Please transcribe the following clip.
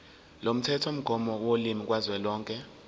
lomthethomgomo wolimi kazwelonke